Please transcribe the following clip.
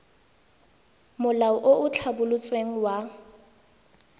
molao o o tlhabolotsweng wa